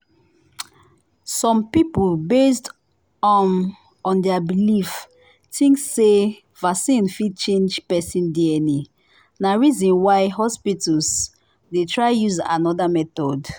some people based um on their believe think say vaccine fit change person dna na reason why hospitals they try use another method